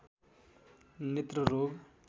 नेत्र रोग